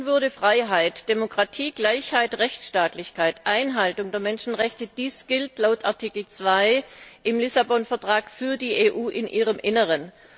Menschenwürde, Freiheit, Demokratie, Gleichheit, Rechtsstaatlichkeit, Einhaltung der Menschenrechte dies gilt laut Artikel 2 im Lissabon Vertrag für die EU in ihrem Inneren.